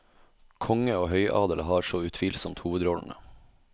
Konge og høyadel har så utvilsomt hovedrollene.